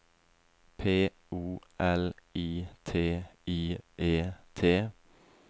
P O L I T I E T